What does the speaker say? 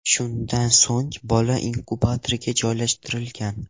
Shundan so‘ng bola inkubatorga joylashtirilgan.